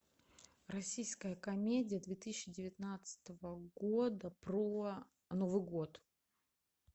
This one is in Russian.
российская комедия две тысячи девятнадцатого года про новый год